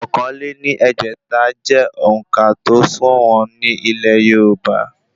Ọ̀kan lé ní ẹgbẹ́ta jẹ́ òǹkà tó sọ̀wọ́n ní ilẹ̀ yorùbá